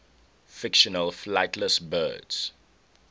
fictional flightless birds